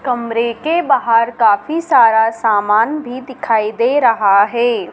कमरें के बाहर काफी सारा सामान भी दिखाई दे रहा है।